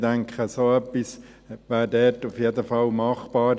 Ich denke, so etwas wäre dort auf jeden Fall machbar.